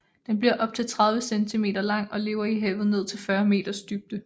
Den bliver op til 30 cm lang og lever i havet ned til 40 meters dybde